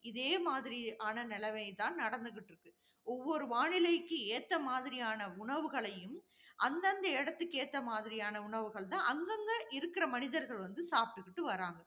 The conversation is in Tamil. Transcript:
இதே மாதிரி ஆன நிலைமை தான் நடந்துகிட்டு இருக்கு. ஒவ்வொரு வானிலைக்கு ஏத்த மாதிரியான உணவுகளையும், அந்தந்த இடத்திற்கு ஏற்ற மாதிரியான உணவுகள் தான், அங்கங்க இருக்கிற மனிதர்கள் வந்து சாப்பிட்டுகிட்டு வர்றாங்க.